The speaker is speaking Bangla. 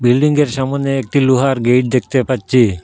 বিল্ডিংয়ের সামনে একটু লোহার গেট দেখতে পাচ্ছি।